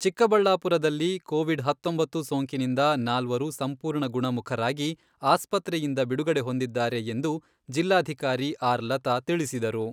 ಚಿಕ್ಕಬಳ್ಳಾಪುರದಲ್ಲಿ ಕೋವಿಡ್ ಹತ್ತೊಂಬತ್ತು ಸೋಂಕಿನಿಂದ ನಾಲ್ವರು ಸಂಪೂರ್ಣ ಗುಣಮುಖರಾಗಿ ಆಸ್ಪತ್ರೆಯಿಂದ ಬಿಡುಗಡೆ ಹೊಂದಿದ್ದಾರೆ ಎಂದು ಜಿಲ್ಲಾಧಿಕಾರಿ ಆರ್ ಲತಾ ತಿಳಿಸಿದರು.